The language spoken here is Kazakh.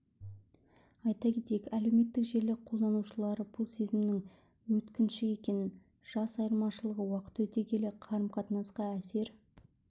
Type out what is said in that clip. айта кетейік әлеуметтік желі қолданушылары бұл сезімнің өткінші екен жас айырмашылығы уақыт өте келе қарым-қатынасқа әсер